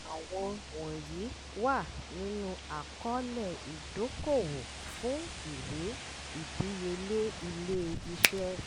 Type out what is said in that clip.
àwọn wọ̀nyìí wà nínú àkọ́ọ̀lẹ̀ ìdókòwò fún ìwé ìdíyelé ilé iṣẹ́.